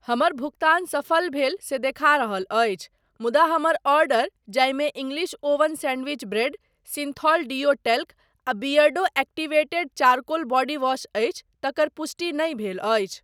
हमर भुगतान सफल भेल से देखा रहल अछि मुदा हमर आर्डर जाहिमे English oven sandwich bread, Cinthol deo talc आ बियर्डो एक्टीवेटेड चारकोल बॉडीवॉश अछि तकर पुष्टि नहि भेल अछि।